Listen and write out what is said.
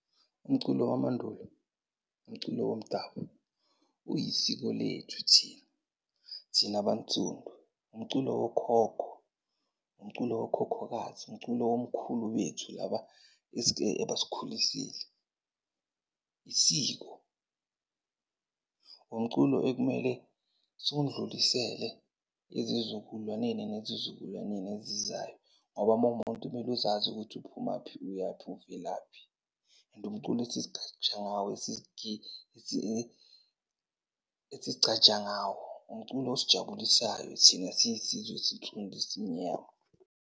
Umculo wamandulo, umculo womdabu, uyisiko lethu thina. Thina abansundu umculo wokhokho, umculo wokhokhokazi, umculo womkhulu bethu laba ebasikhulisile, isiko. Umculo ekumele siwundlulisele ezizukulwaneni nezizukulwaneni ezizayo. Ngoba mawumuntu kumele uzazi ukuthi uphumaphi uyaphi, uvelaphi, and umculo esizigqaja ngawo esizigcaja ngawo. Umculo osijabulisayo thina siyisizwe esinsudu, esimnyama.